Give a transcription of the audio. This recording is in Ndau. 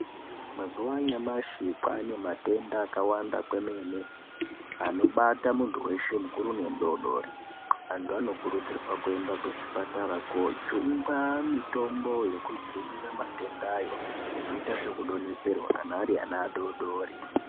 Mazuva yanyamashi kwaane matenda akawanda kwemene anobata muntu weshe mukuru nemudodori antu anokurudzirwa kuenda kuchipatara kojungwa mitombo yokudzivirira matendayo nekuita zvekudonhedzerwa kana ari ana adodori .